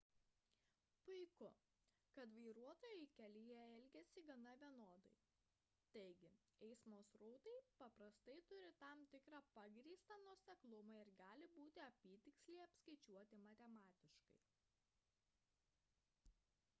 puiku kad vairuotojai kelyje elgiasi gana vienodai taigi eismo srautai paprastai turi tam tikrą pagrįstą nuoseklumą ir gali būti apytiksliai apskaičiuoti matematiškai